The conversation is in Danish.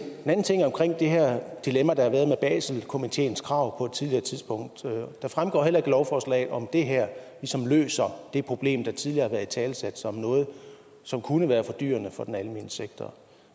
den anden ting er omkring det her dilemma der har været med baselkomiteens krav på et tidligere tidspunkt det fremgår heller ikke af lovforslaget om det her ligesom løser det problem der tidligere har været italesat som noget som kunne være fordyrende for den almene sektor